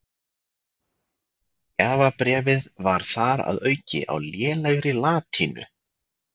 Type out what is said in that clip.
Gjafabréfið var þar að auki á lélegri latínu.